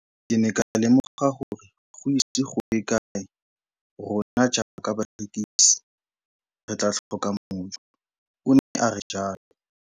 Ke ne ka lemoga gore go ise go ye kae rona jaaka barekise re tla tlhoka mojo, o ne a re jalo.